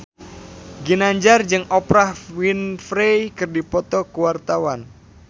Ginanjar jeung Oprah Winfrey keur dipoto ku wartawan